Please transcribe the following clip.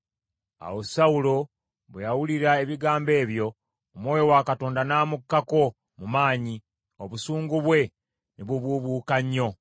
Awo Sawulo bwe yawulira ebigambo ebyo, Omwoyo wa Katonda n’amukkako mu maanyi, obusungu bwe ne bubuubuuka nnyo.